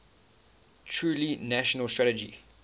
truly national strategy